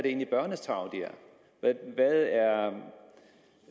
egentlig er barnets tarv hvad